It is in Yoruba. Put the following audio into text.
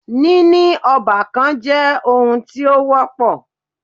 Níní ọ́bàkan jẹ́ oun tí o wọ́pọ̀.